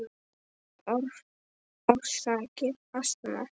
Orsakir astma